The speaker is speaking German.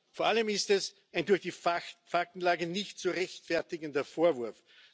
Vor allem ist es ein durch die Faktenlage nicht zu rechtfertigender Vorwurf.